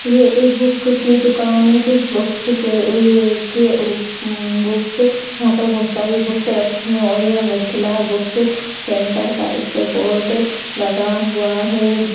ये एक बुक की दुकान है जिस बुक्स के ऊपर बुक्स यहां पर बहुत सारी बुक्स रखी है और यह मिथिला बुक्स सेंटर का इसपे बोर्ड लगा हुआ है।